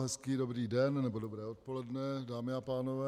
Hezký dobrý den nebo dobré odpoledne, dámy a pánové.